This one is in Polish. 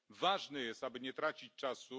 Ważne jest, aby nie tracić czasu.